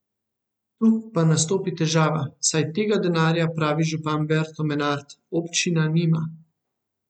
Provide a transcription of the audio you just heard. Tu pa nastopi težava, saj tega denarja, pravi župan Berto Menard, občina nima.